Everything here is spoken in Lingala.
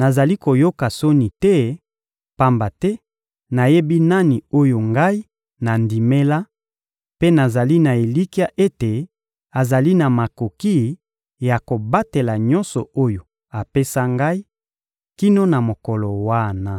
nazali koyoka soni te, pamba te nayebi nani oyo ngai nandimela, mpe nazali na elikya ete azali na makoki ya kobatela nyonso oyo apesa ngai, kino na mokolo wana.